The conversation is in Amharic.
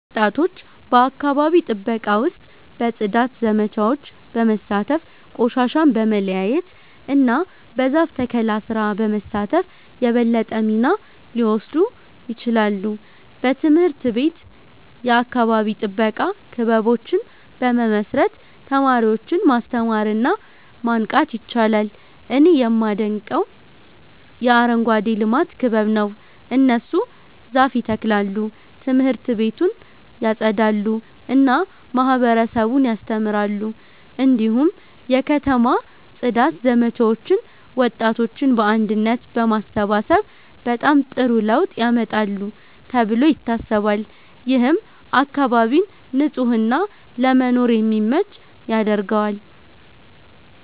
ወጣቶች በአካባቢ ጥበቃ ውስጥ በጽዳት ዘመቻዎች በመሳተፍ፣ ቆሻሻን በመለያየት እና በዛፍ ተከላ ስራ በመሳተፍ የበለጠ ሚና ሊወስዱ ይችላሉ። በትምህርት ቤት የአካባቢ ጥበቃ ክበቦችን በመመስረት ተማሪዎችን ማስተማር እና ማንቃት ይቻላል። እኔ የማደንቀው የአረንጓዴ ልማት ክበብ ነው። እነሱ ዛፍ ይተክላሉ፣ ት/ቤቱን ያጸዳሉ እና ማህበረሰቡን ያስተምራሉ። እንዲሁም የከተማ ጽዳት ዘመቻዎች ወጣቶችን በአንድነት በማሰባሰብ በጣም ጥሩ ለውጥ ያመጣሉ ተብሎ ይታሰባል። ይህም አካባቢን ንጹህ እና ለመኖር የሚመች ያደርገዋል።